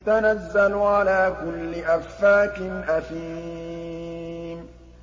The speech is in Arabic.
تَنَزَّلُ عَلَىٰ كُلِّ أَفَّاكٍ أَثِيمٍ